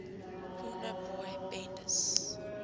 corner boy bendes